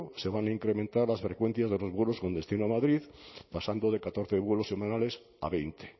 se van a incrementar las frecuencias de los vuelos con destino a madrid pasando de catorce vuelos semanales a veinte